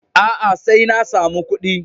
A'a, sai na samu ƙuɗi.